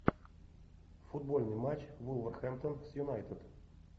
футбольный матч вулверхэмптон с юнайтед